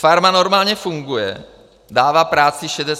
Farma normálně funguje, dává práci 68 lidem.